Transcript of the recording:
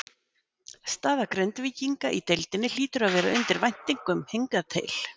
Staða Grindvíkinga í deildinni hlýtur að vera undir væntingum hingað til?